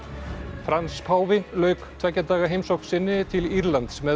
Frans páfi lauk tveggja daga heimsókn sinni til Írlands með